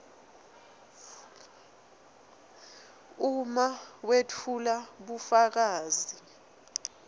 uma wetfula bufakazi